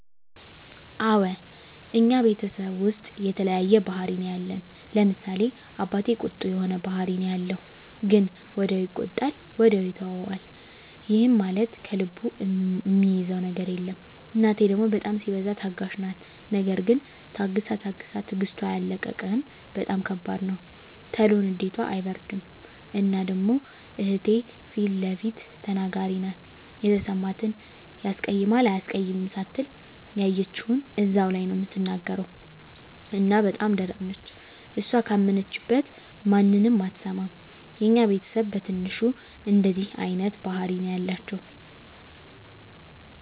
አወ እኛ ቤተሰብ ዉስጥ የተለያየ ባህሪ ነዉ ያለን፤ ለምሳሌ፦ አባቴ ቁጡ የሆነ ባህሪ ነዉ ያለዉ ግን ወዲያዉ ይቆጣል ወዲያዉ ይተወዋል ይህም ማለት ከልቡ እሚይዘዉ ነገር የለም፣ እናቴ ደሞ በጣም ሲበዛ ታጋሽ ናት ነገር ግን ታግሳ ታግሳ ትግስቷ ያለቀ እንደሆነ በጣም ከባድ ነዉ። ቶሎ ንዴቷ አይበርድም እና ደሞ እህቴ ፊለፊት ተናጋሪ ናት የተሰማትን ያስቀይማል አያስቀይምም ሳትል ያየችዉን እዛዉ ላይ ነዉ እምትናገር እና በጣም ደረቅ ነች እሷ ካመነችበት ማንንም አትሰማም። የኛ ቤተስብ በትንሹ እንደዚህ አይነት ባህሪ ነዉ ያላቸዉ።